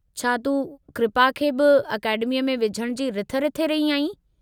छा तूं कृपा खे बि अकेडमीअ में विझणु जी रिथ रिथे रही आहीं?